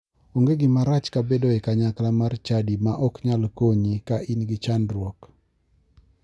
Onge gima rach ka bedo e kanyakla mar chadi ma ok nyal konyi ka in gi chandruok